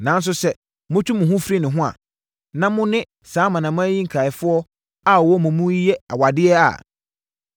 “Nanso sɛ motwe mo ho firi ne ho, na mone saa amanaman yi nkaeɛfoɔ a wɔwɔ mo mu yi di awadeɛ a,